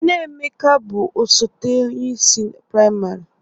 Nne Emeka bụ osote onyeisi prịmarị